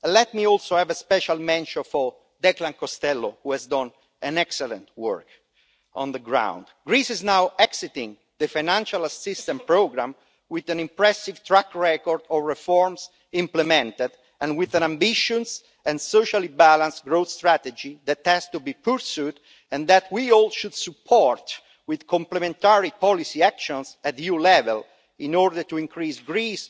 Let me also give a special mention to Declan Costello, who has done excellent work on the ground. Greece is now exiting the financial assistance programme with an impressive track record of reforms implemented and with an ambitious and socially balanced growth strategy that has to be pursued, and which we should all support with complementary policy actions at EU level in order to further Greek